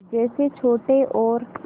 जैसे छोटे और